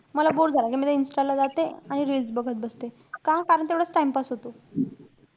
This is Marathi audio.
मला bore झालं. कि मी त्या insta ला जाते. आणि reels बघत बसते. का? कारण तेवढाचं time pass होतो.